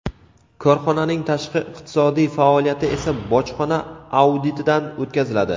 Korxonaning tashqi iqtisodiy faoliyati esa bojxona auditidan o‘tkaziladi.